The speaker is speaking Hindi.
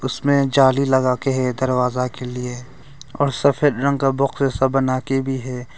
इसमें जाली लगा के है दरवाजा के लिए और सफेद रंग का बॉक्सेस सब बना के भी है।